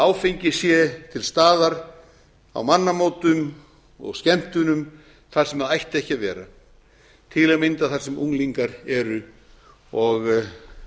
áfengi sé til staðar á mannamótum og skemmtunum þar sem það ætti ekki að vera til að mynda þar sem unglingar eru og